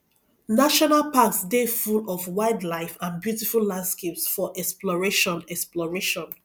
national parks dey full of wildlife and beautiful landscapes for exploration exploration